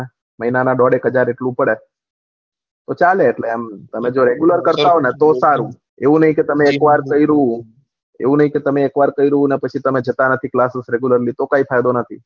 મહિના ના ડોળ એક હાજર એકલું પડે તો ચાલે એટલે એમ તમે રેગુલર કરતા હોય તો સારું એવું ની કે તમે એક વાર કર્યું ને પછી તમે જતા નહી તો તમે જતા નહી ક્લાસ રોજ regularly